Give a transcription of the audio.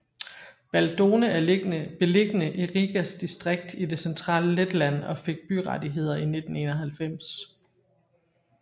Baldone er beliggende i Rigas distrikt i det centrale Letland og fik byrettigheder i 1991